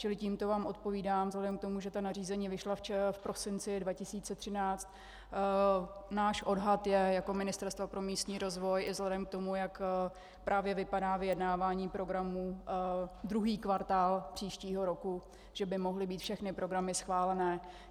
Čili tímto vám odpovídám: vzhledem k tomu, že ta nařízení vyšla v prosinci 2013, náš odhad je jako ministerstva pro místní rozvoj i vzhledem k tomu, jak právě vypadá vyjednávání programů, druhý kvartál příštího roku, že by mohly být všechny programy schválené.